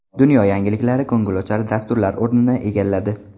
Dunyo yangiliklari ko‘ngilochar dasturlar o‘rnini egalladi.